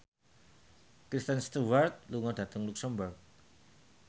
Kristen Stewart lunga dhateng luxemburg